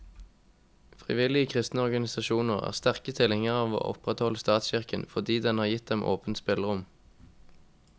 Frivillige kristne organisasjoner er sterke tilhengere av å opprettholde statskirken, fordi den har gitt dem åpent spillerom.